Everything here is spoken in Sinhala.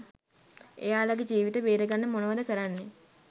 එයාලගෙ ජීවිත බේරගන්න මොනවද කරන්නෙ